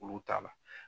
Olu t'a la